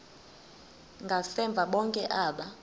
ngasemva bonke aba